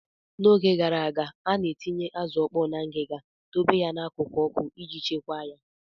N'oge gara aga, a na-etinye azụ ọkpọọ na ngiga, dobe ya n'akụkụ ọkụ iji chekwaa ya.